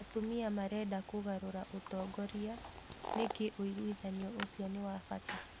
Atumia marenda kũgarũra ũtongoria, nĩkĩ ũigwithanio ũcio nĩ wa bata?